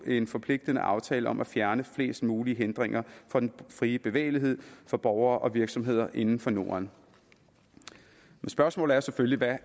en forpligtende aftale om at fjerne flest mulige hindringer for den frie bevægelighed for borgere og virksomheder inden for norden spørgsmålet er selvfølgelig hvad